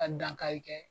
Ka dankari kɛ